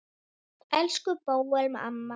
Elsku Bóel amma.